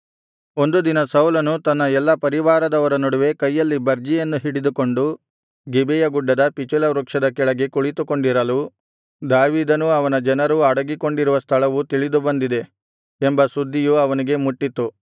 ಒಂದು ದಿನ ಸೌಲನು ತನ್ನ ಎಲ್ಲಾ ಪರಿವಾರದವರ ನಡುವೆ ಕೈಯಲ್ಲಿ ಬರ್ಜಿಯನ್ನು ಹಿಡಿದುಕೊಂಡು ಗಿಬೆಯ ಗುಡ್ಡದ ಪಿಚುಲ ವೃಕ್ಷದ ಕೆಳಗೆ ಕುಳಿತುಕೊಂಡಿರಲು ದಾವೀದನೂ ಅವನ ಜನರೂ ಅಡಗಿಕೊಂಡಿರುವ ಸ್ಥಳವು ತಿಳಿದುಬಂದಿದೆ ಎಂಬ ಸುದ್ದಿಯು ಅವನಿಗೆ ಮುಟ್ಟಿತು